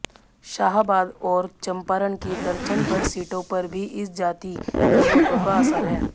शाहाबाद और चम्पारण की दर्जनभर सीटों पर भी इस जाति के वोटरों का असर है